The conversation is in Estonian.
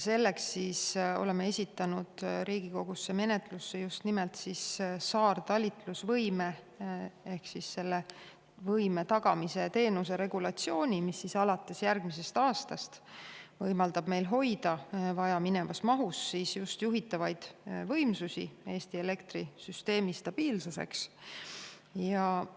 Selleks oleme esitanud Riigikogu menetlusse just nimelt saartalitlusvõime tagamise teenuse regulatsiooni, mis alates järgmisest aastast võimaldab meil hoida vajaminevas mahus juhitavaid võimsusi Eesti elektrisüsteemi stabiilsust tagamas.